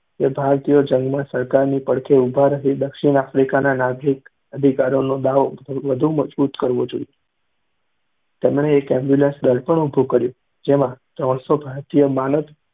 કે ભારતીયોએ જંગમાં સરકારની પડખે ઉભા રહી દક્ષિણ આફ્રિકાના નાગરિક અધિકારોનો દાવો વધુ મજબૂત કરવો જોઇએ. તેમણે એક ambulance દળ પણ ઊભું કર્યું જેમાં તણશો ભારતીયો માનદ્